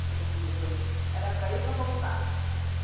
pisando, era para ir e para voltar.